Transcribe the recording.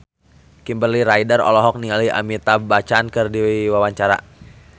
Kimberly Ryder olohok ningali Amitabh Bachchan keur diwawancara